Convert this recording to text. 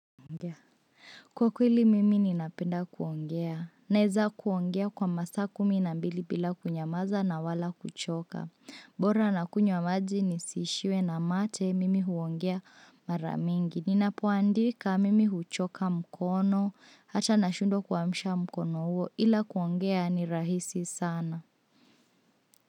Kwa kweli mimi ninapenda kuongea, naeza kuongea kwa masaa kumi na mbili bila kunyamaza na wala kuchoka, bora na kunywa maji nisiishiwe na mate mimi huongea mara mingi, ninapoandika mimi huchoka mkono, hata nashundwa kuamsha mkono huo ila kuongea ni rahisi sana.